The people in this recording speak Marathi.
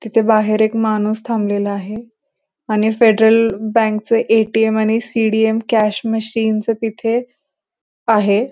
तिथे बाहेर एक माणूस थांबलेला आहे आणि फेडरल बँक च ए.टी.एम. आणि सी.डी.एम. कॅश मशीन च तिथे आहे.